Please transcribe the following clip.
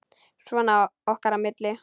Svona okkar á milli.